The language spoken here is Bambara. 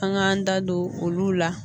An k'an da don olu la.